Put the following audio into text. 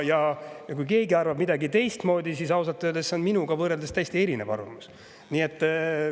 Ja kui keegi arvab teistmoodi, siis ausalt öeldes on see minu võrreldes täiesti erinev arvamus.